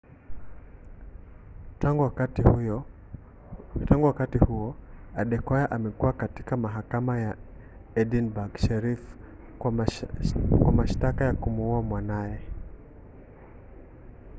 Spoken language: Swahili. tangu wakati huo adekoya amekuwa katika mahakama ya edinburg sheriff kwa mashtaka ya kumuua mwanaye